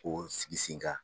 K'o sigi sen kan